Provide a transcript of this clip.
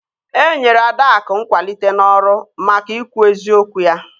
E nyere Adaakụ nkwalite n'ọrụ maka ikwu eziokwu ya